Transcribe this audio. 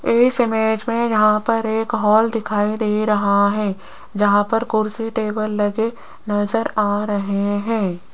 इस इमेज में यहां पर एक हाल दिखाई दे रहा है यहां पर कुर्सी टेबल लगे नजर आ रहे हैं।